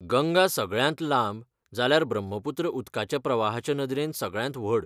गंगा सगळ्यांत लांब जाल्यार ब्रह्मपुत्र उदकाच्या प्रवाहाचे नदरेन सगळ्यांत व्हड.